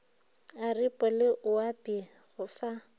aripo le oapi go fa